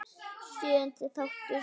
Sjöundi þáttur